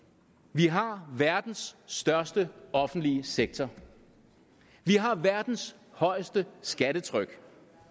vi har verdens største offentlige sektor vi har verdens højeste skattetryk